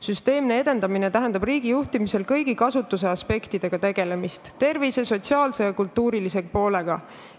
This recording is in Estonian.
Süsteemne edendamine riigi juhtimisel tähendab kõigi rattakasutuse aspektidega, tervise, sotsiaalse ja kultuurilise poolega tegelemist.